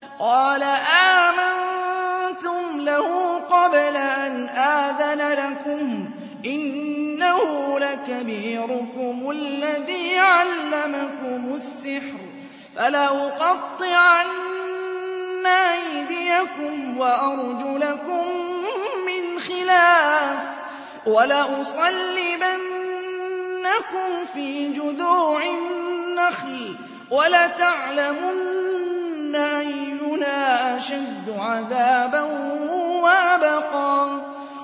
قَالَ آمَنتُمْ لَهُ قَبْلَ أَنْ آذَنَ لَكُمْ ۖ إِنَّهُ لَكَبِيرُكُمُ الَّذِي عَلَّمَكُمُ السِّحْرَ ۖ فَلَأُقَطِّعَنَّ أَيْدِيَكُمْ وَأَرْجُلَكُم مِّنْ خِلَافٍ وَلَأُصَلِّبَنَّكُمْ فِي جُذُوعِ النَّخْلِ وَلَتَعْلَمُنَّ أَيُّنَا أَشَدُّ عَذَابًا وَأَبْقَىٰ